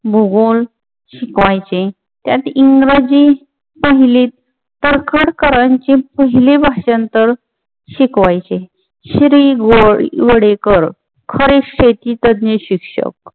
भूगोल शिकवायचे त्यात इंग्रजी पहिलीत तडखरकरांचे पहिले भाषांतर शिकवायचे. श्री. गोडीवडेकर खरे शेती तज्ञ शिक्षक